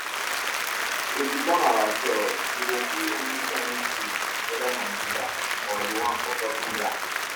if you come our shop you go see any kain tools whether na digger or the one for cutting grass